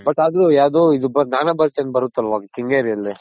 but ಅದು ಯಾವ್ದು ಇದ್ ಜ್ಞಾನ ಭಾರತಿ ಅಂತ ಬರುತಲ್ವ ಕೆಂಗೇರಿ ಅಲ್ಲಿ.